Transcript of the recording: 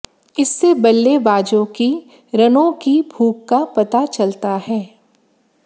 इससे बल्लेबाजों की रनों की भूख का पता चलता है